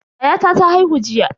Yayata ta haihu jiya.